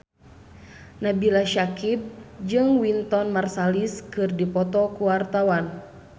Nabila Syakieb jeung Wynton Marsalis keur dipoto ku wartawan